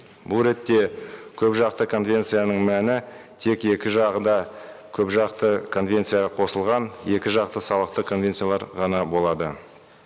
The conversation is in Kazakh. бұл ретте көпжақты конвенцияның мәні тек екі жағы да көпжақты конвенцияға қосылған екі жақты салықтық конвенциялар ғана болады